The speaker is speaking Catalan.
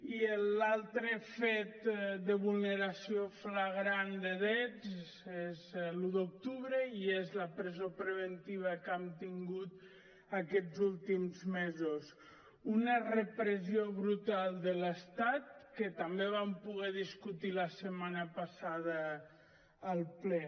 i l’altre fet de vulneració flagrant de drets és l’un d’octubre i és la presó preventiva que hem tingut aquests últims mesos una repressió brutal de l’estat que també vam poder discutir la setmana passada al ple